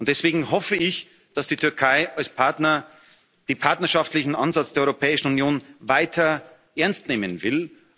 Und deswegen hoffe ich, dass die Türkei als Partner den partnerschaftlichen Ansatz der Europäischen Union weiter ernst nehmen will.